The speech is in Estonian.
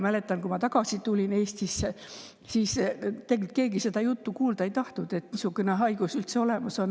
Mäletan, et kui ma Eestisse tagasi tulin, siis keegi ei tahtnud kuulda seda juttu, et niisugune haigus üldse olemas on.